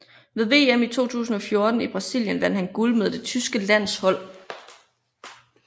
Ved VM i 2014 i Brasilien vandt han guld med det tyske landshold